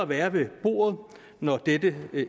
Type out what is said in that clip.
være ved bordet når dette